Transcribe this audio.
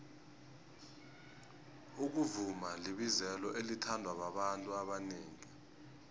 ukuvuma libizelo elithandwa babantu abanengi